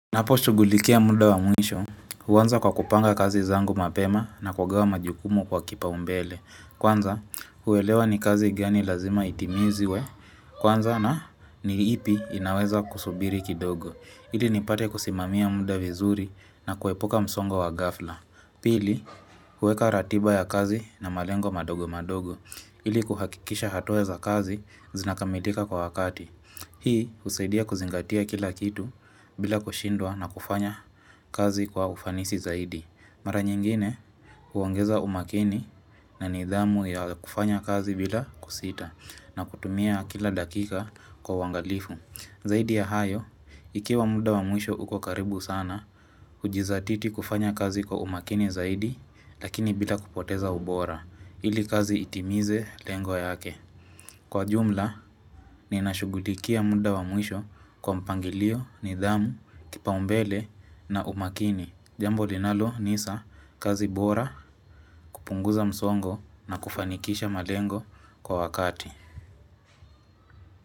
Ninaposhugulikia muda wa mwisho, huanza kwa kupanga kazi zangu mapema na kugawa majukumu kwa kipaumbele. Kwanza, huwelewa ni kazi gani lazima itimizwe, kwanza na ni ipi inaweza kusubiri kidogo. Ili nipate kusimamia muda vizuri na kuepuka msongo wa ghafla. Pili, huweka ratiba ya kazi na malengo madogo madogo. Ili kuhakikisha hatua za kazi zinakamilika kwa wakati. Hii husaidia kuzingatia kila kitu bila kushindwa na kufanya kazi kwa ufanisi zaidi. Mara nyingine huongeza umakini na nidhamu ya kufanya kazi bila kusita na kutumia kila dakika kwa uangalifu. Zaidi ya hayo, ikiwa muda wa mwisho uko karibu sana, ujizatiti kufanya kazi kwa umakini zaidi lakini bila kupoteza ubora. Ili kazi itimize lengo yake. Kwa jumla, ninashughulikia muda wa mwisho kwa mpangilio, nidhamu, kipaumbele na umakini. Jambo linalo nisa kazi bora kupunguza msongo na kufanikisha malengo kwa wakati.